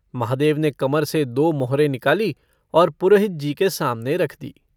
महादेव ने कमर से दो मोहरें निकाली और पुरोहितजी के सामने रख दी।